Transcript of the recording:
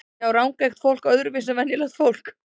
Sjá rangeygt fólk öðruvísi en venjulegt fólk?